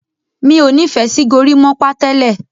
mi'o ní fè sí gorimopa tẹlẹ